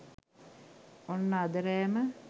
ඔන්න අද රෑම